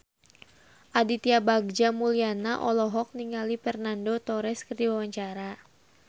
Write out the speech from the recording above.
Aditya Bagja Mulyana olohok ningali Fernando Torres keur diwawancara